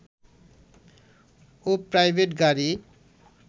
ও private গাড়ী